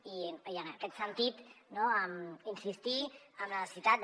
i en aquest sentit insistir en la necessitat de